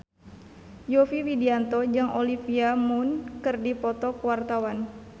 Yovie Widianto jeung Olivia Munn keur dipoto ku wartawan